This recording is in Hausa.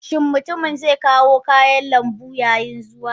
Shin mutumin zai kawo kayan lambu yayin zuwa?